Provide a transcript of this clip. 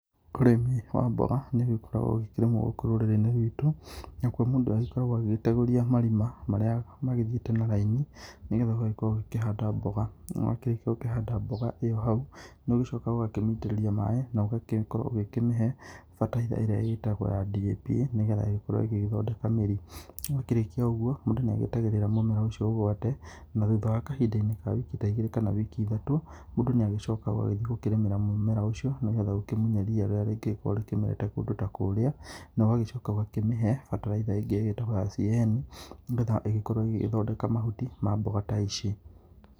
Ũrĩmi wa mboga nĩ ũgĩkoragwo ũgĩkĩrĩmwo gũkũ rũrĩrĩ-inĩ rwitũ nĩgũo mũndũ agĩkoragwo agĩtegũria marĩa magĩthiĩte na raini nĩgetha ũgagĩkorwo ũgĩkĩhanda mboga na wakĩrĩkĩa gũkorwo ũkĩhanda mboga ĩyo hau nĩ ũgĩcoka ũgakĩmĩitĩrĩria maĩ na ũgagĩkorwo ũkĩmĩhe mbataraitha ĩrĩa ĩgĩtagwo ya DAP nĩgetha ĩgĩgĩkorwo ĩgĩthondeka mĩrĩ wakĩrĩkia ũgũo mũndũ nĩ agĩetagĩrĩra mũmera ũcio ũgwate na thutha wa kahinda-inĩ ka wiki ta igĩrĩ kana wiki ithatũ mũndũ nĩ agĩcokaga ũgagĩthiĩ kũrĩmĩra mũmera ũcio nĩgetha ũkĩmũnye ria rĩrĩa rĩgĩkoragwo rĩmerete kũndũ ta kũrĩa na ũgagĩcoka ũgakĩmĩhe mbataraitha ĩrĩa ingĩ ĩgĩtagwo ya CAN nĩgetha ĩgĩkorwo ĩgĩgĩthondeka mahuti ma mboga ta ici.